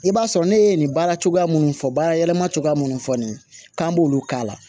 I b'a sɔrɔ ne ye nin baara cogoya minnu fɔ baara yɛlɛma cogoya minnu fɔ nin k'an b'olu k'a la